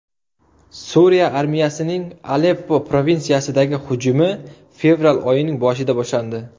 Suriya armiyasining Aleppo provinsiyasidagi hujumi fevral oyining boshida boshlandi.